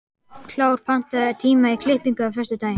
Kár, pantaðu tíma í klippingu á föstudaginn.